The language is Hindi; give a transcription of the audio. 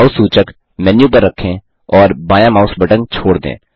माउस सूचक मेन्यू पर रखें और बायाँ माउस बटन छोड दें